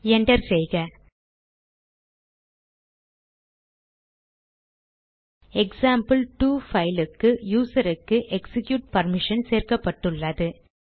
enter செய்க இப்போது எக்சாம்பிள்2 க்கு யூசருக்கு எக்சிக்யூட் பர்மிஷன் கொடுக்கப்பட்டுள்ளது